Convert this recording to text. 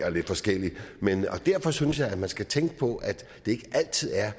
og lidt forskelligt og derfor synes jeg at man skal tænke på at det ikke altid er